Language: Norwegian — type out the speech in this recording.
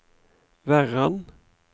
Verran